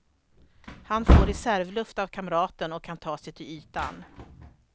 Han får reservluft av kamraten och kan ta sig till ytan.